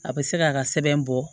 A bɛ se k'a ka sɛbɛn bɔ